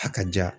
A ka ja